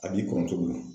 A b'i kɔrɔtogo min na